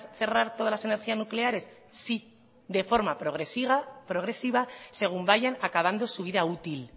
todas las energías nucleares sí de forma progresiva según vayan acabando su vida útil